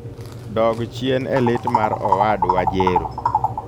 dog chien e lit mar owadwa jero